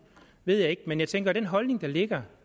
ved jeg ikke men jeg tænker at den holdning der ligger